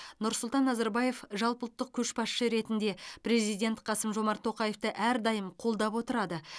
нұрсұлтан назарбаев жалпыұлттық көшбасшы ретінде президент қасым жомарт тоқаевты әрдайым қолдап отырады